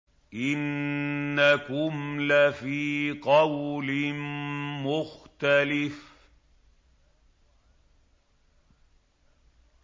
إِنَّكُمْ لَفِي قَوْلٍ مُّخْتَلِفٍ